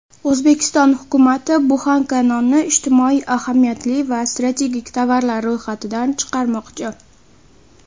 O‘zbekiston hukumati buxanka nonni ijtimoiy ahamiyatli va strategik tovarlar ro‘yxatidan chiqarmoqchi.